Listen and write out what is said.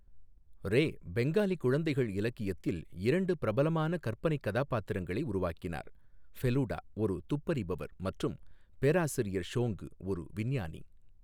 ரே பெங்காலி குழந்தைகள் இலக்கியத்தில் இரண்டு பிரபலமான கற்பனைக் கதாபாத்திரங்களை உருவாக்கினார், ஃபெலுடா, ஒரு துப்பறிபவர் மற்றும் பேராசிரியர் ஷோங்கு, ஒரு விஞ்ஞானி.